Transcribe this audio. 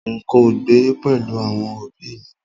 N̄ kò gbé pẹ̀lú àwọn òbí ì mi